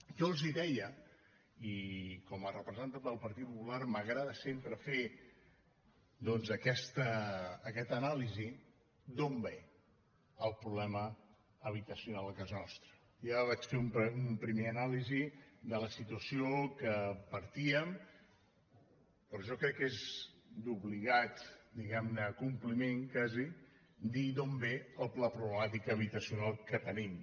jo els deia i com a representant del partit popular m’agrada sempre fer doncs aquesta anàlisi d’on ve el problema habitacional a casa nostra ja vaig fer una primera anàlisi de la situació de què partíem però jo crec que és d’obligat diguem ne compliment quasi dir d’on ve la problemàtica habitacional que tenim